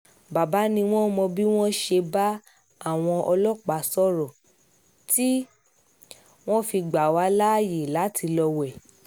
baba ni wọ́n mọ bí wọ́n ṣe bá àwọn ọlọ́pàá sọ̀rọ̀ tí wọ́n fi gbà wà láàyè láti lọ́ọ wé